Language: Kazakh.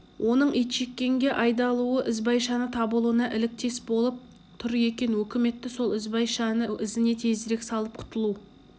оның итжеккенге айдалуы ізбайшаның табылуына іліктес болып тұр екен өкіметті сол ізбайшаның ізіне тезірек салып құтылу